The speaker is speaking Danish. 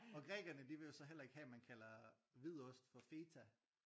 Og grækerne de vil jo så heller ikke have at man kalder hvid ost for feta